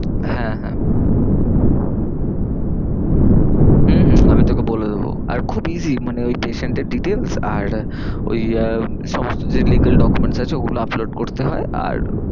হ্যাঁ হ্যাঁ হম হম আমি তোকে বলে দেবো। আর খুব easy মানে ওই patient এর details আর ওই আহ সমস্ত যে legal document আছে ও গুলো upload করতে হয় আর